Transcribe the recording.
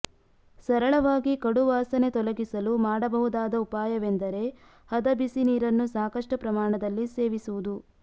ಸರಳವಾಗಿ ಕಡುವಾಸನೆ ತೊಲಗಿಸಲು ಮಾಡಬಹುದಾದ ಉಪಾಯವೆಂದರೆ ಹದ ಬಿಸಿ ನೀರನ್ನು ಸಾಕಷ್ಟು ಪ್ರಮಾಣದಲ್ಲಿ ಸೇವಿಸುವುದು